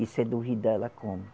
E se duvidar ela come.